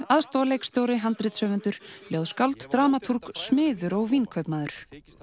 aðstoðarleikstjóri handritshöfundur ljóðskáld dramatúrg smiður og vínkaupmaður